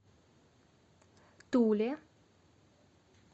туле